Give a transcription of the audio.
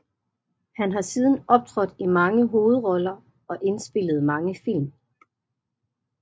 Han har siden optrådt i mange hovedroller og indspillet mange film